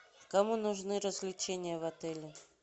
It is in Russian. кому нужны развлечения в отеле